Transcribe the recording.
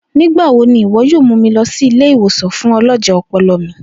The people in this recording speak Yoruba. Nigbawo ni iwọ yoo mu mi lọ si ile-iwosan fun ọlọjẹ ọpọlọ mi.